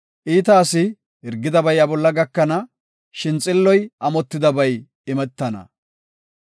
Iita asi hirgidabay iya bolla gakana; shin xilloy amotidabay imetana.